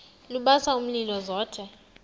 lubasa umlilo zothe